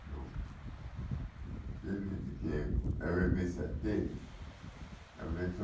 não que ele que a vivência dele, a vivência